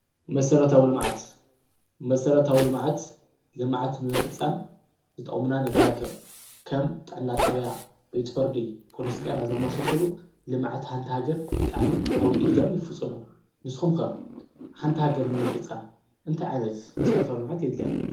መሠረታው ሎምዓት ልመዓት ንምፍጻም ዝጠሙና ነገራት እዮም ከም ጣናጣብያ ቤትፈርዲ ጶልስጢያ ዘማሶሶሉ ልመዓት ሓንታሃገር ጣኣሚ ኣዊ ኢጃም ይፍፅሞ ንስኹምከ ሓንታሕገርን ምፍጻ እንተይ ዓይነት መሠረተኣው ሎምዓት የትልያ።